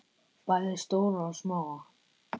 Bæði stóra og smáa.